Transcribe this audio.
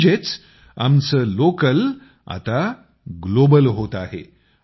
म्हणजे आमचे लोकल आता ग्लोबल होत आहे